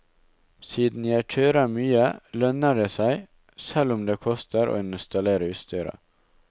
Siden jeg kjører mye, lønner det seg, selv om det koster å installere utstyret.